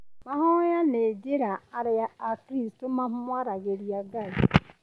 Mahoya nĩ njĩra arĩa akristo mamwaragĩria Ngai.